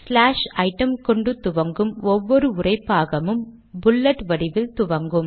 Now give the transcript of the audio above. slash item கொண்டு துவங்கும் ஒவ்வொரு உரைபாகமும் புல்லட் வடிவில் துவங்கும்